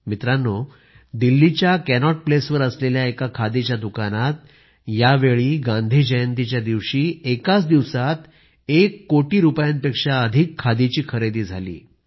मित्रांनो दिल्लीच्या कॅनॉट प्लेसवर असलेल्या एका खादीच्या दुकानात यावेळी गांधी जयंतीच्या दिवशी एकाच दिवसात एक कोटी रूपयांपेक्षा अधिक खादीची खरेदी झाली